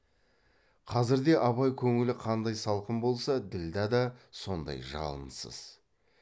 қазірде абай көңілі қандай салқын болса ділдә да сондай жалынсыз